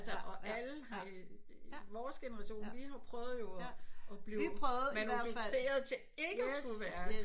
Og altså alle har øh vores generation vi har prøvet jo at blive manifesteret til ikke at skulle være det